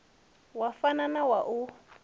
wa fana na wa u